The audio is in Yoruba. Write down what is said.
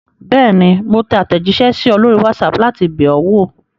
Bẹ́ẹ̀ni, mo tẹ àtẹ̀jíṣẹ́ sí ọ lórí WhatsApp láti bẹ̀ ọ́ wò.